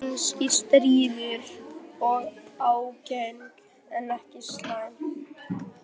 Kannski stríðin og ágeng en ekki slæm.